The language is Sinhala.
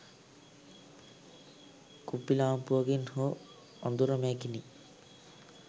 කුප්පි ලාම්පුවකින් හෝ අඳුර මැකිනි